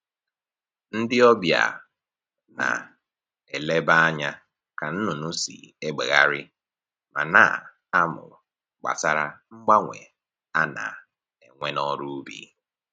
Ndị ọbịa na-eleba anya ka nnụnụ si egbegharị ma na-amụ gbasara mgbanwe a na-enwe n'ọrụ ubi